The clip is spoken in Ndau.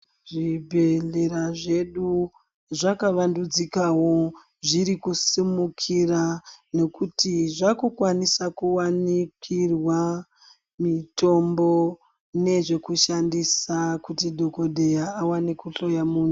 Zvibhedhlera zvedu zvakavandudzikawo zvirikusumikira nekuti zvakukwaniswa kuwanikirwa mitombo nezvekushandisa kuti dhokodheya awane kuhloya munhu .